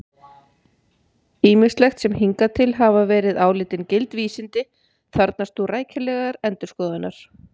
Ýmislegt sem hingað til hafa verið álitin gild vísindi þarfnast nú rækilegrar endurskoðunar!